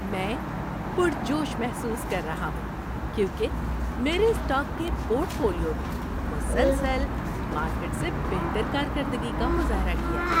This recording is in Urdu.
میں پرجوش محسوس کر رہا ہوں کیونکہ میرے اسٹاک کے پورٹ فولیو نے مسلسل مارکیٹ سے بہتر کارکردگی کا مظاہرہ کیا ہے۔